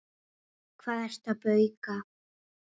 Hvað ertu að bauka?